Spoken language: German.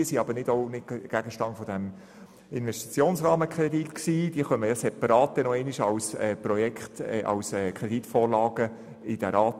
Diese sind denn auch nicht Gegenstand dieses Investitionsrahmenkredits, sondern werden dem Rat als separate Kreditvorlagen vorgelegt.